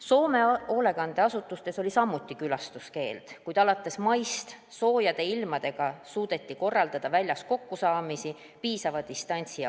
Soome hoolekandeasutustes oli samuti külastuskeeld, kuid alates maist, kui ilmad läksid soojaks, suudeti korraldada kokkusaamisi väljas, hoides piisavat distantsi.